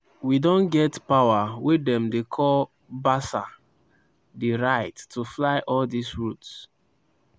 we don get power wey dem dey call basa di right to fly all dis routes.